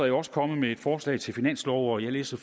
jo også kommet med et forslag til finanslov og jeg læste